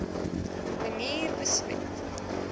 manier besmet